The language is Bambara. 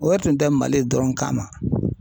O yɛrɛ tun tɛ Mali dɔrɔn kama.